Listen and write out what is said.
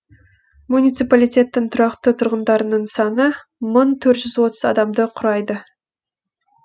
муниципалитеттің тұрақты тұрғындарының саны мың төрт жүз отыз адамды құрайды